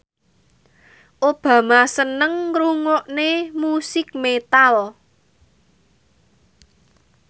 Obama seneng ngrungokne musik metal